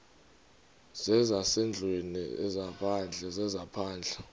zezasendlwini ezaphandle zezaphandle